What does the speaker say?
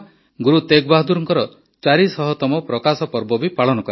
ଗୁରୁ ତେଗ୍ ବାହାଦୁରଙ୍କର ୪୦୦ତମ ପ୍ରକାଶ ପର୍ବ ବି ପାଳନ କରାଯିବ